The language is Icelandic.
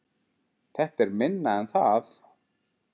Þetta er minna en það